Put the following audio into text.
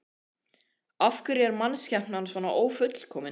Af hverju er mannskepnan svona ófullkomin?